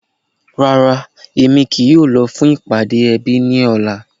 Rárá, èmi kìí yóò lọ̀ fún ìpàdé èbí ní òlà.